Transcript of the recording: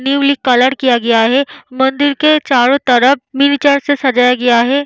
Newly colour किया गया है मंदिर के चारों तरफ से सजाया गया है।